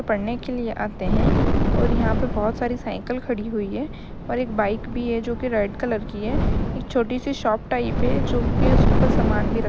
पढ़ने के लिए आते हैं और यहां पे बहोत सारी साइकिल खड़ी हुई है और एक बाइक भी है जो कि रेड कलर की है। एक छोटी सी शॉप टाइप है जो कि उसके ऊपर सामान भी र --